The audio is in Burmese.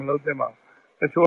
မလုပ်သင့်ပါဘူး။ တချို့